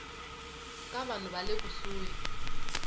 ka vanhu va le kusuhi